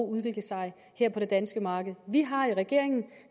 udvikle sig her på det danske marked vi har i regeringen